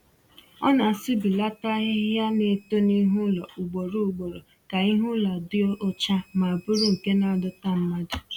Ọ na-asụbilaata ahịhịa na-eto n'ihu ụlọ ugboro ugboro ka ihu ụlọ dị ọcha ma bụrụ nke na-adọta mmadụ